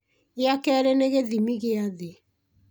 gĩa kerĩ nĩ gĩthimi gĩa thĩ